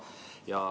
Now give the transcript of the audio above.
Kes saab?